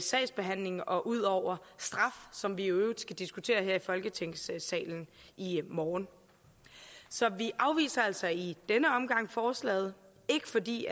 sagsbehandlingen og ud over straf som vi i øvrigt skal diskutere her i folketingssalen i morgen så vi afviser altså i denne omgang forslaget ikke fordi